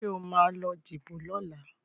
Sọ ma lọ díbò lọ́la?